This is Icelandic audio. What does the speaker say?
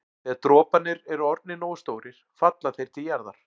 Þegar droparnir eru orðnir nógu stórir falla þeir til jarðar.